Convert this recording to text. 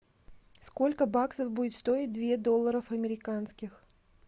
сколько баксов будет стоить две долларов американских